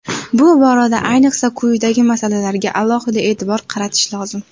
Bu borada ayniqsa quyidagi masalalarga alohida e’tibor qaratish lozim.